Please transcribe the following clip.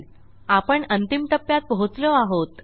आपण अंतिम टप्प्यात पोहोचलो आहोत